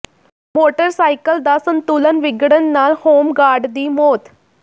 motorcycle ਦਾ ਸੰਤੁਲਨ ਵਿਗੜਨ ਨਾਲ ਹੋਮ ਗਾਰਡ ਦੀ ਮੌਤ